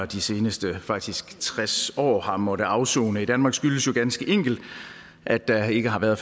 de seneste faktisk tres år har måttet afsone i danmark skyldes jo ganske enkelt at der ikke har været